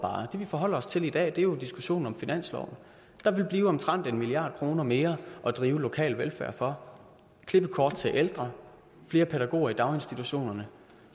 det vi forholder os til i dag er jo diskussionen om finansloven der vil blive omtrent en milliard kroner mere at drive lokal velfærd for klippekort til ældre flere pædagoger i daginstitutionerne